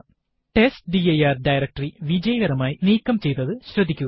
test dir directory വിജയകരമായി നീക്കം ചെയ്തത് ശ്രദ്ധിക്കുക